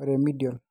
e remediable